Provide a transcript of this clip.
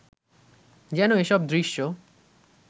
যেন এসব দৃশ্য